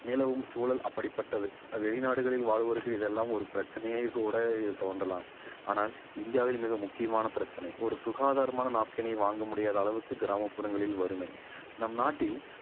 நிலவும் சூழல் அப்படிப்பட்டது வெளிநாடுகளில் வாழ்வோருக்கு இதெல்லாம் ஒரு பிரச்சனை கூட இது தோன்றலாம் ஆனால் இந்தியாவில் மிக முக்கியமான பிரச்சனை ஒரு சுகாதாரமான napkin ஐ வாங்க முடியாத அளவுக்கு கிராமப்புறங்களில் வறுமை நம் நாட்டில்